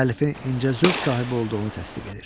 Müəllifin incə zövq sahibi olduğunu təsdiq edir.